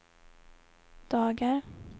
dagar